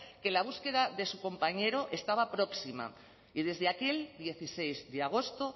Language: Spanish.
que la búsqueda de su compañero estaba próxima y desde aquel dieciséis de agosto